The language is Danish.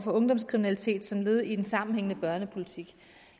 ungdomskriminalitet som led i en sammenhængende børnepolitik